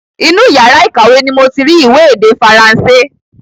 Inú yàrá ìkàwé ni moti rí ìwé èdè Faransé